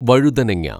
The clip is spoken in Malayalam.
വഴുതനങ്ങ